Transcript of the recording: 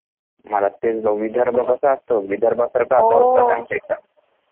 आता तेच विदर्भ कसा असतो विदर्भ सारखं टेम्परेचर आहे आमचा इथं